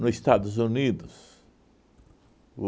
No Estados Unidos,